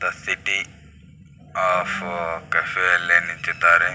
The city of cafe ಯಲ್ಲಿ ನಿಂತಿದ್ದಾರೆ .